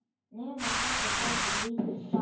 Nema, pabbi, sagði lítið barn.